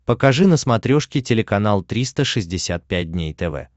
покажи на смотрешке телеканал триста шестьдесят пять дней тв